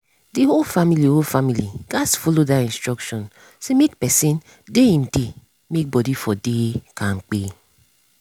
the whole family whole family gats follow that instruction say make person dey him dey make body for dey kampe.